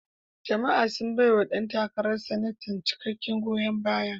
Jama'a sun baiwa ɗan takarar Sanatan cikakken goyon baya.